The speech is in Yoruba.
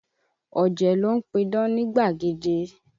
Ọ̀jẹ̀ ló ń pidán nígbàgede.